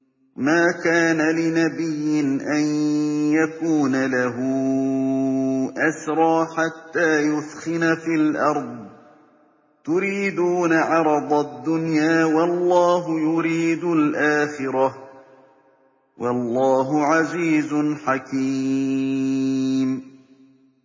مَا كَانَ لِنَبِيٍّ أَن يَكُونَ لَهُ أَسْرَىٰ حَتَّىٰ يُثْخِنَ فِي الْأَرْضِ ۚ تُرِيدُونَ عَرَضَ الدُّنْيَا وَاللَّهُ يُرِيدُ الْآخِرَةَ ۗ وَاللَّهُ عَزِيزٌ حَكِيمٌ